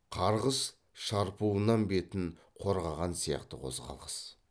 қарғыс шарпуынан бетін қорғаған сияқты қозғалыс